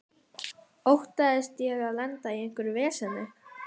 Óttaðist ég að lenda í einhverju veseni?